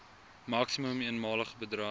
maksimum eenmalige bedrag